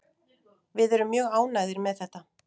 Við erum mjög ánægðir með þetta.